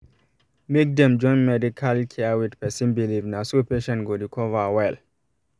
make dem join medical care with person believe na so patient go recover well